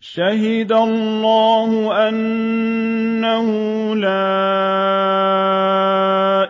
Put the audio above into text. شَهِدَ اللَّهُ أَنَّهُ لَا